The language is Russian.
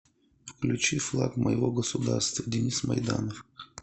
включи флаг моего государства денис майданов